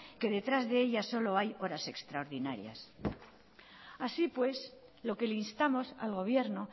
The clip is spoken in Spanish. que detrás de ella solo hay horas extraordinarias así pues lo que le instamos al gobierno